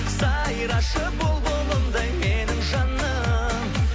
сайрашы бұлбұлымдай менің жаным